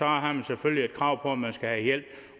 har man selvfølgelig et krav på at man skal have hjælp